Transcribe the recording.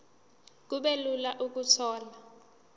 kube lula ukuthola